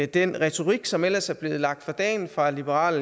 den retorik som ellers er blevet lagt for dagen fra liberal